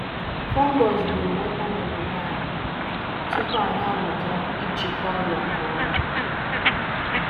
Nje ọrịa fọngai gbùrù watermelon anyị um tupuu anyị amụta ibuso ọrịa agha nke ọma. um